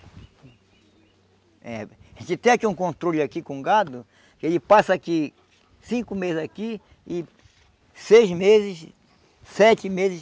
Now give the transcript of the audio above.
É. A gente tem aqui um controle aqui com gado que ele passa aqui cinco meses aqui e seis meses, sete meses